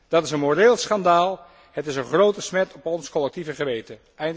Dat is een moreel schandaal, het is een grote smet op ons collectieve geweten.